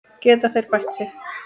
Geta þeir bætt sig?